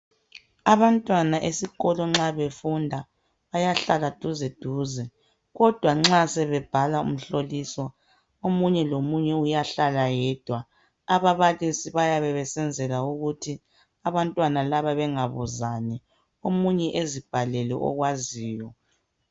Abantwana esikolo nxa befunda bayahlala duze duze kodwa nxa sebe bhala imihloliso omunye lomunye uyahlala yedwa ababalisi bayabe besenzela ukuthi abantwana laba bengabuzani omunye azibhalele okwaziyo.